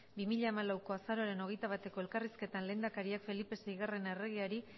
bi mila hamalauko azaroaren hogeita bateko elkarrizketan lehendakariak felipe seigarren erregeari